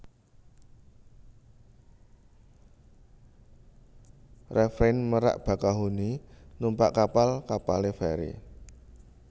RefreinMerak Bakahuni numpak kapal kapale feri